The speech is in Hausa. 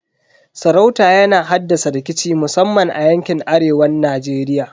Sarauta yana haddasa rikici musamman a yankin arewan Najeriya.